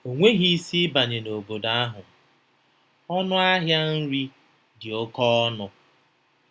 O nweghị isi ịbanye n’obodo ahụ; ọnụ ahịa nri dị oke ọnụ.